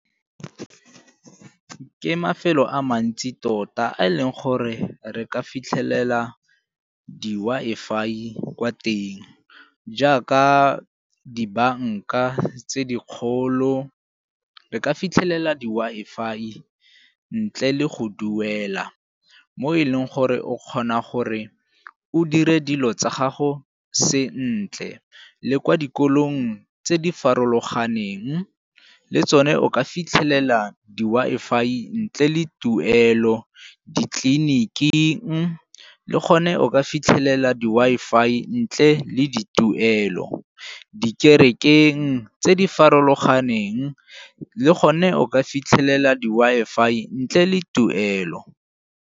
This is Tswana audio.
Ke mafelo a mantsi tota a e leng gore re ka fitlhelela di-Wi-Fi kwa teng jaaka dibanka tse dikgolo re ka fitlhelela di -Wi-Fi ntle le go duela mo e leng gore o kgona gore o dire dilo tsa gago se ntle. Le kwa dikolong tse di farologaneng le tsone o ka fitlhelela di-Wi-Fi ntle le tuelo ditleliniking le gone o ka fitlhelela di-Wi-Fi ntle le di tuelo, dikerekeng tse di farologaneng le gone o ka fitlhelela di-Wi-Fi ntle le tuelo.